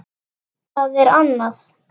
Það er annað